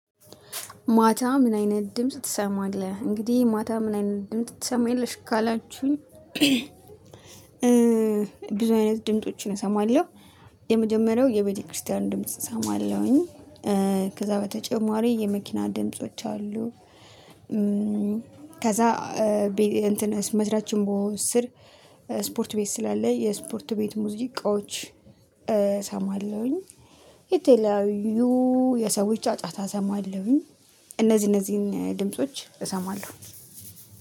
ማታ ምን አይነት ድምጽ ትሰማለህ እንግዲህ ማታ ምን አይነት ድምጽ ትሰማለሽ ካላችሁኝ? ብዙ አይነት ድምፆችን እሰማለሁ። የመጀመሪያው የቤተክርስቲያን ድምጽ እሰማለሁኝ። ከዛ በተጨማሪ የመኪና ድምጾች አሉ። ከዛ ቤ እንትን መስራችን በሆ ስር ስፖርት ቤት ስላለ የስፖርት ቤት ሙዚቃዎች እሰማለሁኝ። የተለያዪ የሰዎች አጫጫታ እሰማለሁኝ። እነዚህን ድምጾች እሰማለሁ።